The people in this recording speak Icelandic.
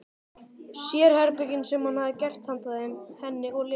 Sérherbergin sem hann hefði gert handa þeim, henni og Lenu.